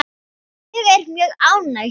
Ég er mjög ánægð hér.